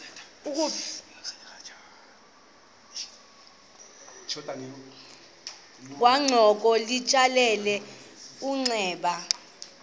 kwangoko litsalele umnxeba